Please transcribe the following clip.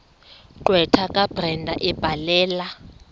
gqwetha kabrenda ebhalela